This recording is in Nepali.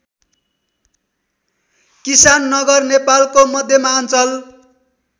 किसाननगर नेपालको मध्यमाञ्चल